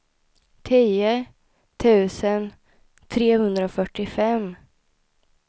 tio tusen trehundrafyrtiofem